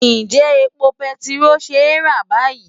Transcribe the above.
Ǹjẹ́ epo bẹntiró ṣe é rà báyìí?